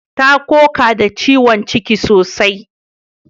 Ta koka da ciwon ciki sosai